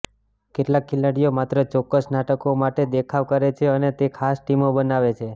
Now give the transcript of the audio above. કેટલાક ખેલાડીઓ માત્ર ચોક્કસ નાટકો માટે દેખાવ કરે છે અને તે ખાસ ટીમો બનાવે છે